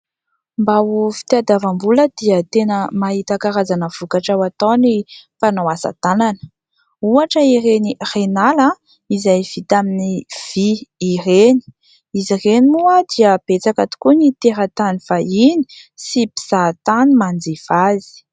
Mba ho fitiadavam-bola dia tena mahita karazana vokatra ho atao ny mpanao asa-tanana ; ohatra ireny renala izay vita amin'ny vy ireny ; izy reny moa dia betsaka tokoa ny teratany vahiny sy mpizahantany manjifa azy.